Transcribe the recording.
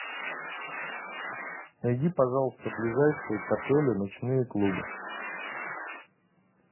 найди пожалуйста ближайшие к отелю ночные клубы